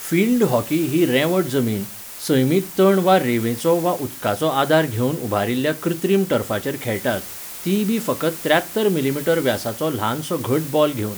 Field hockey ही रेंवट जमीन, सैमीक तण वा रेंवेचो वा उदकाचो आदार घेवन उबारिल्ल्या कृत्रीम टर्फाचेर खेळटात, तीयबी फकत त्र्यात्तर मिमी. व्यासाचो ल्हानसो घट बॉल घेवन.